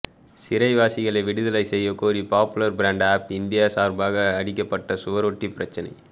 சிறை வாசிகளை விடுதலை செய்யகோரி பாப்புலர் ப்ரண்ட் ஆப் இந்தியா சார்பாக அடிக்கப்பட்ட சுவரொட்டி பிரச்சாரம்